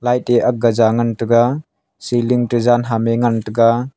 light e aak ga jaw ngan tega ceiling te jan ham e ngan tega.